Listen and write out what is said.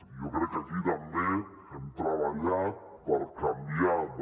i jo crec que aquí també hem treballat per canviar de